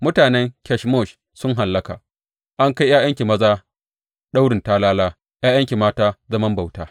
Mutanen Kemosh sun hallaka; an kai ’ya’yanki maza daurin talala ’ya’yanki mata zaman bauta.